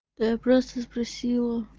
я просто спросила